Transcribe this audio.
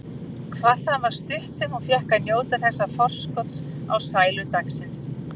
Hvað það var stutt sem hún fékk að njóta þessa forskots á sælu dagsins.